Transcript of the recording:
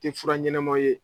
Tɛ fura ɲɛnamaw ye